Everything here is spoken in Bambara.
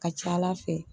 Ka ca ala fɛ